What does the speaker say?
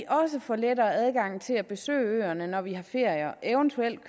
også får lettere adgang til at besøge øerne når vi har ferie og eventuelt